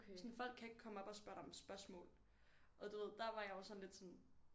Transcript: Sådan folk kan ikke komme op og spørge dig om spørgsmål og du ved der var jeg jo sådan lidt sådan